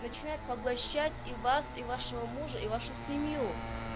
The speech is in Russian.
начинает поглощать и вас и вашего мужа и вашу семью